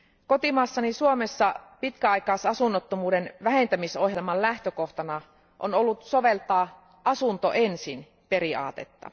Kotimaassani Suomessa pitkäaikaisasunnottomuuden vähentämisohjelman lähtökohtana on ollut soveltaa asunto ensin periaatetta.